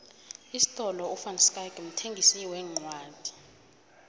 isifolo ivanschaick mthengisi wencwodi